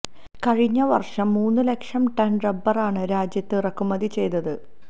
കഴിഞ്ഞ വര്ഷം മൂന്ന് ലക്ഷം ടണ് റബ്ബറാണ് രാജ്യത്ത് ഇറക്കുമതി ചെയ്തത്